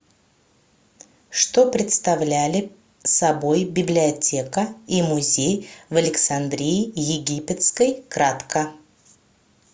что представляли собой библиотека и музей в александрии египетской кратко